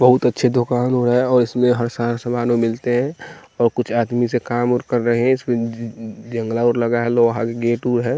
बहुत अच्छे दुकान हो रहा है और इसमें हर सारा सामान ओ मिलते हैं और कुछ आदमी से काम और कर रहे हैं इसमें जज जंगला और लगा है लोहा गेट उ है।